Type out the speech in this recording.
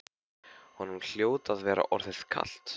Honum hljóti að vera orðið kalt.